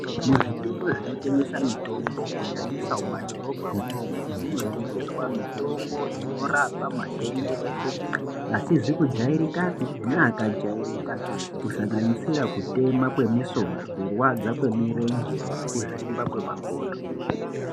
Muzvitoro zvinotengesa mitombo kunyanyisa mumadhorobha mwomwo munotengeswa mitombo inorapa matenda eshe asizi kujairikapi neakajairika kusanganidira kutema kwemusoro kurwadza kwemurenje nekuzvimba kwemakodo